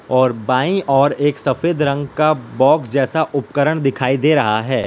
और बाईं ओर एक सफेद रंग का बॉक्स जैसा उपकरण दिखाई दे रहा है।